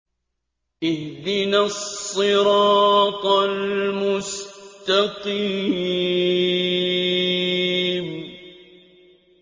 اهْدِنَا الصِّرَاطَ الْمُسْتَقِيمَ